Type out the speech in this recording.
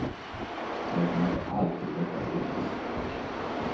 Det är inte alltid detta lyckats.